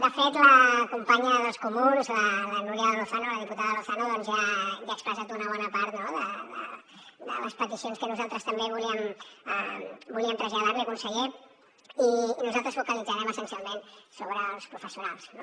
de fet la companya dels comuns la núria lozano la diputada lozano doncs ja ha expressat una bona part de les peticions que nosaltres també volíem traslladar li conseller i nosaltres focalitzarem essencialment sobre els professionals no